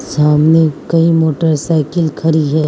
सामने कई मोटरसाइकिल खड़ी है।